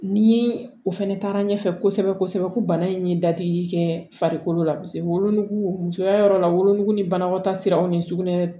Ni o fɛnɛ taara ɲɛfɛ kosɛbɛ kosɛbɛ ko bana in ye dadigi kɛ farikolo la wolonugu musoya yɔrɔ la wolonugu ni banakɔtaa siraw ni sugunɛ